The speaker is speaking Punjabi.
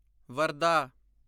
ਵਰਧਾ